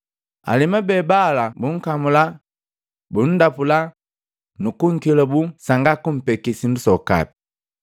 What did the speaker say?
Alemu be bala bunkamula, bundapula, nukunkelabuu sanga kumpeke sindu sokapi.